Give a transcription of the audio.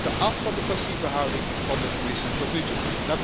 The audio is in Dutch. We moeten af van de passieve houding van de Commissie tot nu toe.